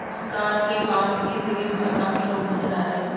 उस कार के पास इर्द गिर्द में काफी सारे लोग नजर आ रहे है।